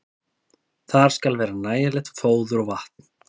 Þar skal vera nægilegt fóður og vatn.